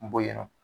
Bɔ yen nɔ